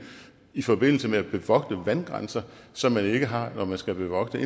i forbindelse med at bevogte vandgrænser som man ikke har når man skal bevogte